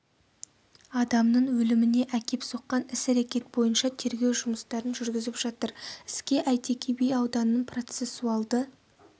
адамның өліміне әкеп соққан іс-әрекет бойынша тергеу жұмыстарын жүргізіп жатыр іске әйтеке би ауданының процессуалды